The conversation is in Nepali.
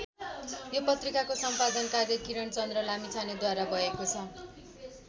यो पत्रिकाको सम्पादन कार्य किरणचन्द्र लामिछानेद्वारा भएको छ।